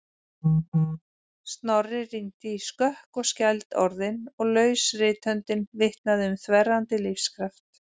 Snorri rýndi í skökk og skæld orðin og laus rithöndin vitnaði um þverrandi lífskraft.